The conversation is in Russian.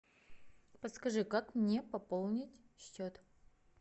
подскажи как мне пополнить счет